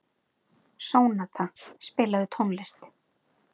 Sónata, spilaðu tónlist.